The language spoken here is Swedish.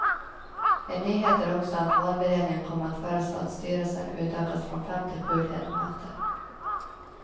En nyhet är också att valberedningen kommer att föreslå att styrelsen utökas från fem till sju ledamöter.